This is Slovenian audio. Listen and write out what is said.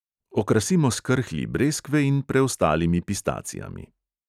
Okrasimo s krhlji breskve in preostalimi pistacijami.